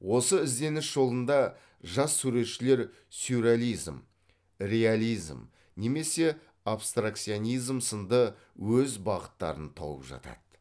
осы ізденіс жолында жас суретшілер сюрреализм реализм немесе абстракционизм сынды өз бағыттарын тауып жатады